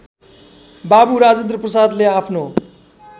बाबू राजेन्द्रप्रसादले आफ्नो